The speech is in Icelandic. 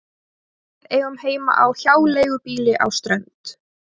Við eigum heima á hjáleigubýli á Strönd.